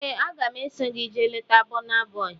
Ee, aga m eso gị jee leta Bọna Bọi